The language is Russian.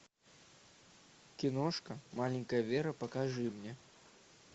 киношка маленькая вера покажи мне